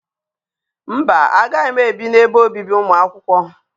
Mba, agaghị m ebi n'ebe obibi ụmụ akwụkwọ.